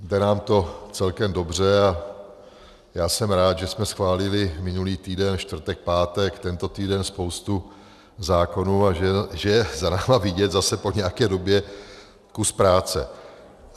Jde nám to celkem dobře a já jsem rád, že jsme schválili minulý týden čtvrtek, pátek, tento týden spoustu zákonů a že je za námi vidět zase po nějaké době kus práce.